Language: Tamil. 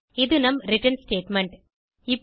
இது நம் ரிட்டர்ன் ஸ்டேட்மெண்ட்